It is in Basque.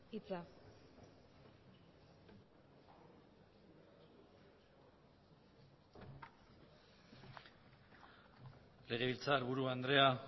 hitza legebiltzarburu andrea